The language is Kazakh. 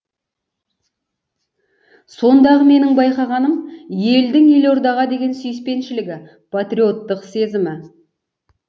сондағы менің байқағаным елдің елордаға деген сүйіспеншілігі патриоттық сезімі